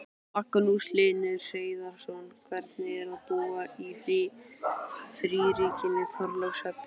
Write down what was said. Magnús Hlynur Hreiðarsson: Hvernig er að búa í fríríkinu Þorlákshöfn?